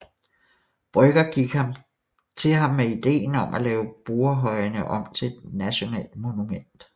Brøgger gik til ham med ideen om at lave Borrehøjene om til et nationalt monument